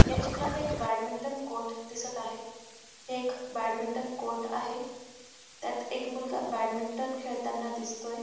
या चित्रात एक बॅडमिंटन कोर्ट दिसत आहे हे एक बॅडमिंटन कोर्ट आहे त्यात एक मुलगा बॅडमिंटन खेळताना दिसतोय.